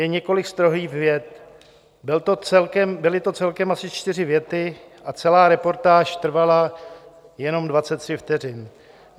Jen několik strohých vět, byly to celkem asi čtyři věty a celá reportáž trvala jenom 23 vteřin.